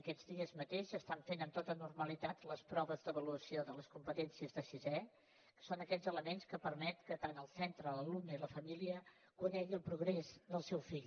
aquests dies mateix s’estan fent amb tota normalitat les proves d’avaluació de les competències de sisè que són aquests elements que permeten que tant el centre com l’alumne i la família coneguin el progrés del seu fill